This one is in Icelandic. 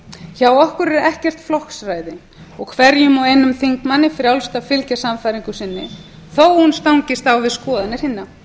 hjá okkur er ekkert flokksræði og hverjum og einum þingmanni frjálst að fylgja sannfæringu sinni þó að hún stangist á við skoðanir hinna við